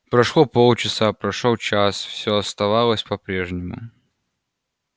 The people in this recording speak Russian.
прошло полчаса прошёл час всё оставалось по-прежнему